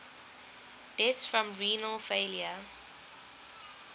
deaths from renal failure